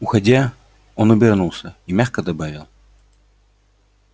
уходя он обернулся и мягко добавил